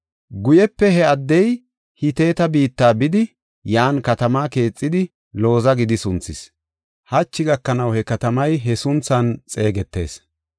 Guype he addey Hiteta biitta bidi, yan katamaa keexidi Looza gidi sunthis. Hachi gakanaw he katamay he sunthan xeegetees.